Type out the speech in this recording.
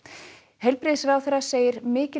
heilbrigðisráðherra segir mikil